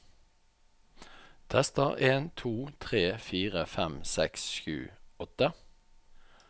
Tester en to tre fire fem seks sju åtte